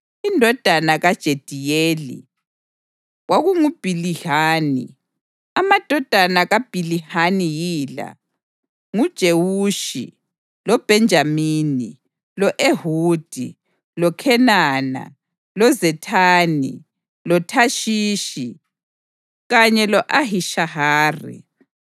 Indodana kaJediyeli kwakunguBhilihani. Amadodana kaBhilihani yila: nguJewushi, loBhenjamini, lo-Ehudi, loKhenana, loZethani, loThashishi kanye lo-Ahishahari.